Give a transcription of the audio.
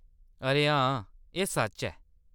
अरे हां, एह्‌‌ सच्च ऐ।